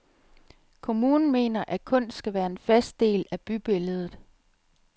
Kommunen mener, at kunst skal være en fast del af bybilledet.